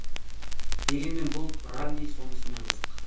дегенмен бұл ралли сонысымен қызық